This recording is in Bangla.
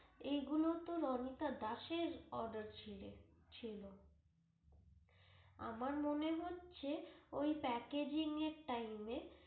এইগুলো তো রণিতা দাস এর order ছিলে, ছিল আমার মনে হচ্ছে ওই Packaging এর time এ